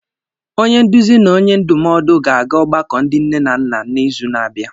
Onye nduzi na onye ndụmọdụ ga-aga ogbako ndị nne na nna n'izu na-abịa